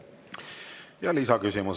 Ja lisaküsimus.